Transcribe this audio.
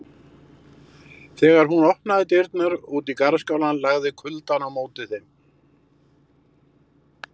Þegar hún opnaði dyrnar út í garðskálann lagði kuldann á móti þeim.